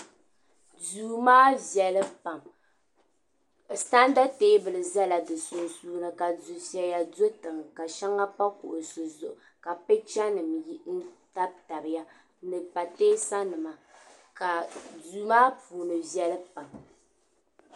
Duu maa viɛli pam santa teebuli zala di sunsuuni ka dufeya do tiŋa ka sheŋa pa kuɣusi zuɣu ka picha nima tabi tabiya ni pateesa nima ka duu maa puuni viɛli pam.